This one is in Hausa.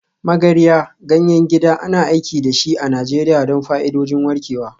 Magarya, ganyen gida, ana aiki da shi a Najeriya don fa'idodin warkewa.